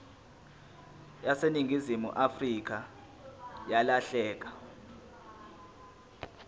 yaseningizimu afrika yalahleka